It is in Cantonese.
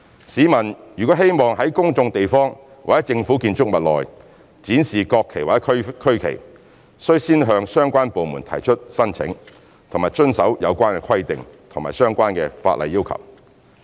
市民如希望在公眾地方或政府建築物內展示國旗或區旗，須先向相關部門提出申請和遵守有關規定及相關法例要求。